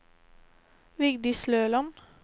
Vigdis Løland